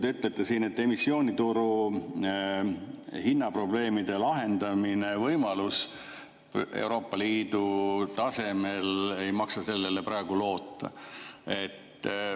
Te ütlesite, et võimalusele emissioonituru hinnaprobleemid Euroopa Liidu tasemel lahendada ei maksa praegu loota.